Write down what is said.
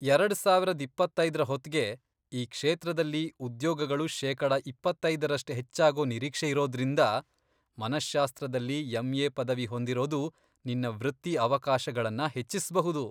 ಎರಡ್ ಸಾವರದ್ ಇಪ್ಪತ್ತೈದ್ರ ಹೊತ್ಗೆ ಈ ಕ್ಷೇತ್ರದಲ್ಲಿ ಉದ್ಯೋಗಗಳು ಶೇಕಡಾ ಇಪ್ಪತ್ತೈದರಷ್ಟು ಹೆಚ್ಚಾಗೋ ನಿರೀಕ್ಷೆಯಿರೋದ್ರಿಂದ ಮನಶ್ಶಾಸ್ತ್ರದಲ್ಲಿ ಎಂಎ ಪದವಿ ಹೊಂದಿರೋದು ನಿನ್ನ ವೃತ್ತಿ ಅವಕಾಶಗಳನ್ನ ಹೆಚ್ಚಿಸ್ಬಹುದು.